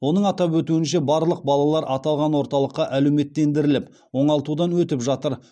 оның атап өтуінше барлық балалар аталған орталықта әлеуметтендіріліп оңалтудан өтіп жатыр